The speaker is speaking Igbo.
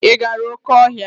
Ị gara oké ọhịa?